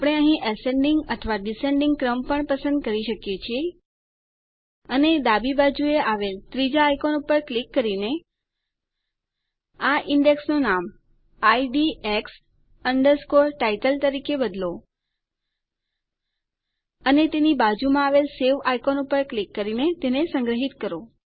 આપણે અહીં એસેન્ડિંગ અથવા ડિસેન્ડિંગ ક્રમ પણ પસંદ કરી શકીએ છીએ અને ડાબી બાજુએ આવેલ ત્રીજાં આઇકોન ઉપર ક્લિક કરીને આ ઈન્ડેક્સનું નામ IDX Title તરીકે બદલો અને તેની બાજુમાં આવેલ સવે આઇકોન ઉપર ક્લિક કરીને તેને સંગ્રહિત કરો